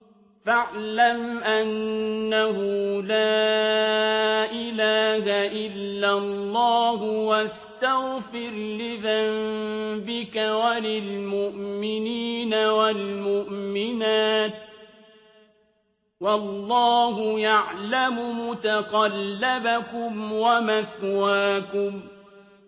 فَاعْلَمْ أَنَّهُ لَا إِلَٰهَ إِلَّا اللَّهُ وَاسْتَغْفِرْ لِذَنبِكَ وَلِلْمُؤْمِنِينَ وَالْمُؤْمِنَاتِ ۗ وَاللَّهُ يَعْلَمُ مُتَقَلَّبَكُمْ وَمَثْوَاكُمْ